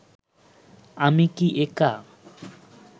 আমি কি একা